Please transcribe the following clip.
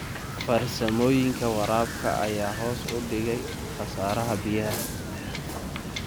Farsamooyinka waraabka ayaa hoos u dhigay khasaaraha biyaha.